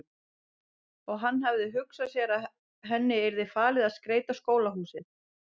Og hann hafði hugsað sér að henni yrði falið að skreyta skólahúsið.